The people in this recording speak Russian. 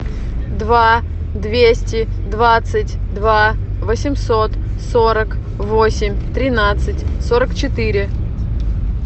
два двести двадцать два восемьсот сорок восемь тринадцать сорок четыре